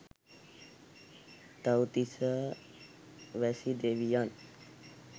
තව්තිසා වැසි දෙවියන්